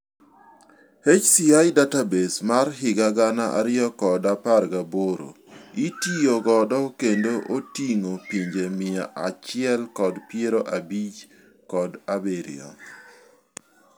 HCI database mar higa gana ariyo kod apar kod aboro itiyo godo kendo oting'o pinje mia achiel kod piero abich kod abirio.